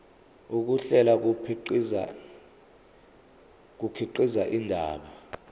ukuhlela kukhiqiza indaba